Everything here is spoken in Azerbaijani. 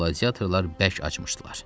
Qladiyatorlar bərk açmışdılar.